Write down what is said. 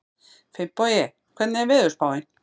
Finnbogi, hvernig er veðurspáin?